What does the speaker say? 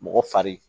Mɔgɔ fari